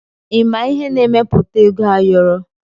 Ịma ihe na-emepụta ego ayọrọ?